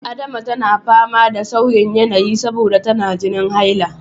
Adama tana fama da sauyin yanayi saboda tana jinin haila.